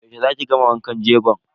Yaushe za ki gama wankan jego.